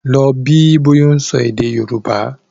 Lọ bí bọ́yá ó ń sọ èdè Yorùbá!